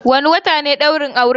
Wane wata ne ɗaurin auren?